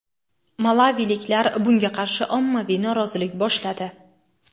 Malaviliklar bunga qarshi ommaviy norozilik boshladi.